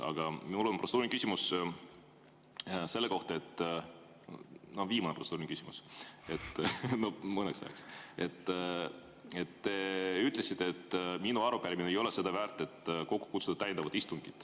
Aga mul on protseduuriline küsimus selle kohta – viimane protseduuriline küsimus, mõneks ajaks –, et te ütlesite, et minu arupärimine ei ole seda väärt, et kokku kutsuda täiendav istung.